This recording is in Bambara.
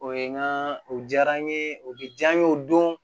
O ye n ka o diyara n ye o bɛ diya n ye o don